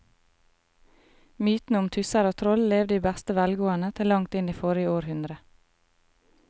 Mytene om tusser og troll levde i beste velgående til langt inn i forrige århundre.